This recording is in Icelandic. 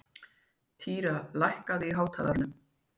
Týra, lækkaðu í hátalaranum.